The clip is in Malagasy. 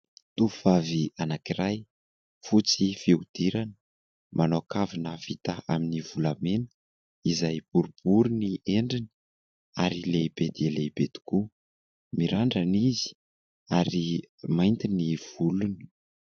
Tovovavy anankiray, fotsy fihodirana. Manao kavina vita amin'ny volamena izay boribory ny endriny ary lehibe dia lehibe tokoa. Mirandrana izy ary mainty ny volony.